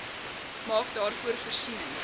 maak daarvoor voorsiening